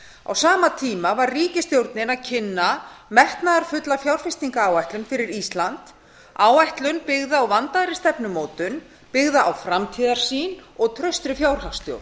á sama tíma var ríkisstjórnin að kynna metnaðarfulla fjárfestingaráætlun fyrir ísland áætlun byggða á vandaðri stefnumótun byggða á framtíðarsýn og traustri fjárhagsstjórn